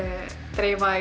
dreifa